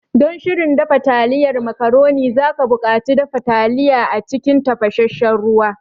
Don shirin dafa taliyan macaroni, za ka buƙaci dafa taliya a cikin tafasassen ruwa.